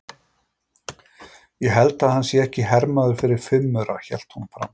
Ég held að hann sé ekki hermaður fyrir fimm aura, hélt hún áfram.